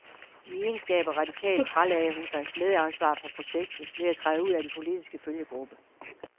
I egenskab af radikal fralagde hun sig medansvar for projektet ved at træde ud af den politiske følgegruppe.